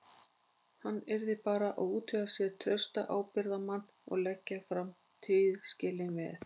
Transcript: Hann yrði bara að útvega sér trausta ábyrgðarmenn og leggja fram tilskilin veð.